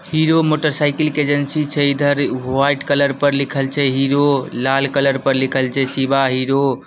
Hero motorcycle के agency छै इधर व्हाइट कलर पर लिखल छै हीरो लाल कलर पर लिखल छै शिवा हीरो ।